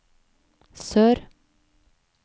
sør